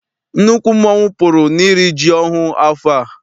Nnukwu mmọnwu pụrụ n'iri ji ọhụụ afọ a.